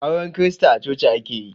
Auren krista a coci ake yi